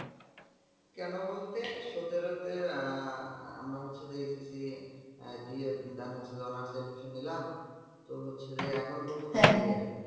কেনো বলতে সতেরো তে আহ আমরা হচ্ছে যে, SSC দিয়ে honours বসে রইলাম তো হচ্ছে যে এখন পর্যন্ত final year এ ।